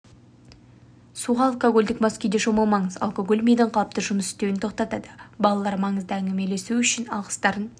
суға алкогольдік мас күйде шомылмаңыз алкоголь мидың қалыпты жұмыс істеуін тоқтатады балалар маңызды әңгімелесу үшін алғыстарын